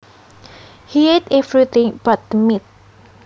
He ate everything but the meat